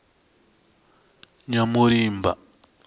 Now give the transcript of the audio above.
nyamulimba